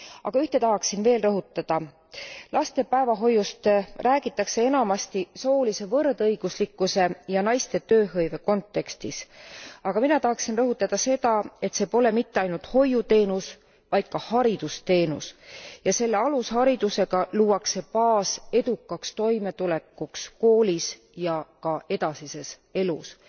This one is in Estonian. Aga ühte tahaksin veel rõhutada laste päevahoiust räägitakse enamasti soolise võrdõiguslikkuse ja naiste tööhõive kontekstis, aga mina tahaksin rõhutada seda, et see pole mitte ainult hoiuteenus, vaid ka haridusteenus ja selle alusharidusega luuakse baas edukaks toimetulekuks koolis ja ka edasises elus.